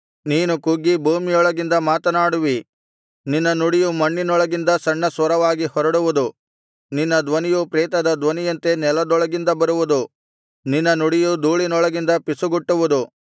ನೀನು ಕುಗ್ಗಿ ಭೂಮಿಯೊಳಗಿಂದ ಮಾತನಾಡುವಿ ನಿನ್ನ ನುಡಿಯು ಮಣ್ಣಿನೊಳಗಿಂದ ಸಣ್ಣ ಸ್ವರವಾಗಿ ಹೊರಡುವುದು ನಿನ್ನ ಧ್ವನಿಯು ಪ್ರೇತದ ಧ್ವನಿಯಂತೆ ನೆಲದೊಳಗಿಂದ ಬರುವುದು ನಿನ್ನ ನುಡಿಯು ಧೂಳಿನೊಳಗಿಂದ ಪಿಸುಗುಟ್ಟುವುದು